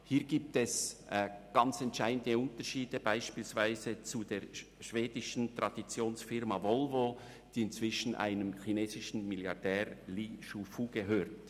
Hier gibt es ganz entscheidende Unterschiede, so beispielsweise zur schwedischen Traditionsfirma Volvo, die inzwischen dem chinesischen Milliardär Li Shufu gehört.